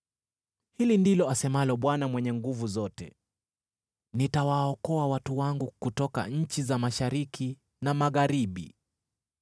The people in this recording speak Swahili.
Hili ndilo asemalo Bwana Mwenye Nguvu Zote: “Nitawaokoa watu wangu kutoka nchi za mashariki na magharibi.